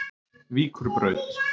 Víkurbraut